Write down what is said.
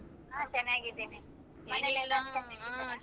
ಹ ಚೆನ್ನಾಗಿದೀನಿ